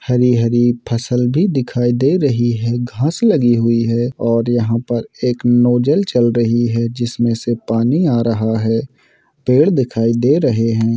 हरी-हरी फसल भी दिखाई दे रही है घास लगी है और यहाँ पर एक नोजल चल रही है जिसमे से पानी आ रहा है पेड़ दिखाई दे रहे है।